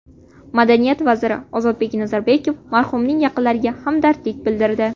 Madaniyat vaziri Ozodbek Nazarbekov marhumning yaqinlariga hamdardlik bildirdi.